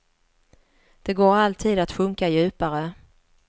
Det går alltid att sjunka djupare.